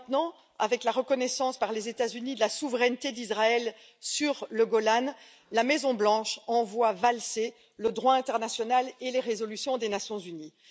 Et maintenant, avec la reconnaissance par les États Unis de la souveraineté d'Israël sur le Golan, la Maison blanche envoie valser le droit international et les résolutions des Nations unies.